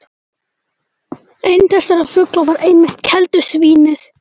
Einn þessara fugla var einmitt keldusvín- ið.